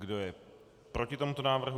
Kdo je proti tomuto návrhu?